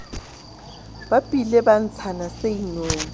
bapile ba ntshana se inong